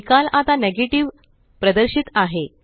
निकाल आताNegative प्रदर्शित आहे